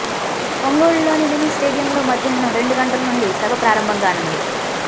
ఒంగోలులోని మినీ స్టేడియంలో మధ్యాహ్నం రెండు గంటల నుండి సభ ప్రారంభం కానుంది